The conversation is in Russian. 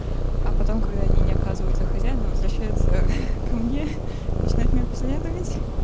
а потом когда они не оказываются хозяина возвращается ко мне начинает меня преследовать